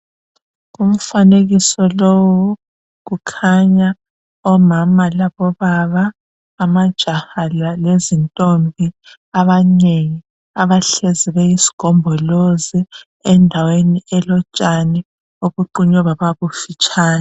Kumfanekiso lowu kukhanya omama labobaba ,amajaha lezintombi abanengi .Abahlezi beyisigombolozi endaweni elotshani obuqunywe baba bufitshani .